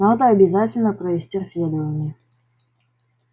надо обязательно провести расследование